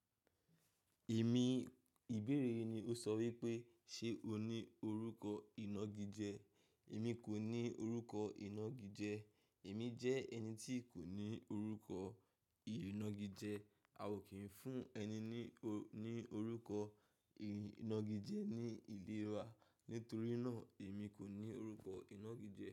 Èmi, ìbéèrè yìí ni ó sọ wípé ṣe o ní orúkọ ìnagijẹ? Èmi kò ní orúkọ ìnagijẹ. Èmi jẹ́ ẹni tí kò ní orúkọ ìnagijẹ. A ò kí ń fún ẹni ní, ní orúkọ ìnagijẹ ní ìlera. Nítorí náà, èmi kò ní orúkọ ìnagijẹ.